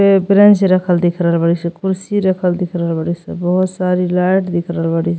ये ब्रैन्च रखल दिख रहल बाड़ी सन। कुर्सी रखल दिख रहल बानी सन। बहुत सारी लाइट दिख रहल बाड़ी --